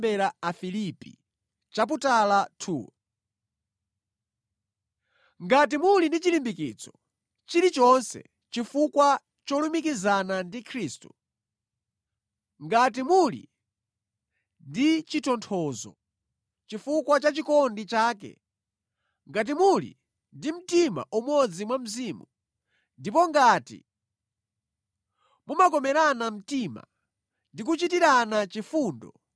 Ngati muli ndi chilimbikitso chilichonse chifukwa cholumikizana ndi Khristu, ngati muli ndi chitonthozo chifukwa cha chikondi chake, ngati muli ndi mtima umodzi mwa Mzimu, ndipo ngati mumakomerana mtima ndi kuchitirana chifundo,